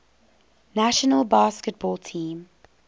national basketball team